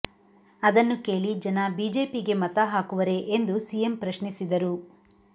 ಅದನ್ನು ಕೇಳಿ ಜನ ಬಿಜೆಪಿಗೆ ಮತ ಹಾಕುವರೇ ಎಂದು ಸಿಎಂ ಪ್ರಶ್ನಿಸಿದರು